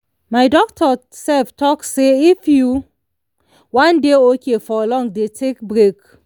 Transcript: my doctor self talk say if you wan dey okay for long dey take break